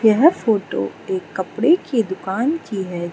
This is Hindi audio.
यह फोटो एक कपड़े की दुकान की है।